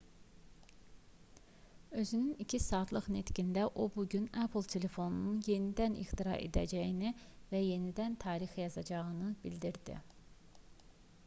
özünün 2 saatlıq nitqində o bu gün apple-ın telefonu yenidən ixtira edəcəyini və yenidən tarix yazacaqlarını bildirdi